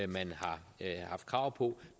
man har haft krav på